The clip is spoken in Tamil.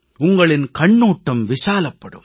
உங்களின் கண்ணோட்டம் விசாலப்படும்